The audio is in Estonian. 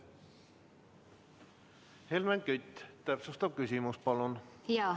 Helmen Kütt, täpsustav küsimus, palun!